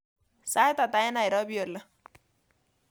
Sait ata eng nairobi oli